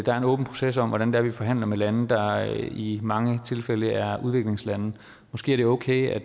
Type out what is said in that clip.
er en åben proces om hvordan vi forhandler med lande der i mange tilfælde er udviklingslande måske er det okay at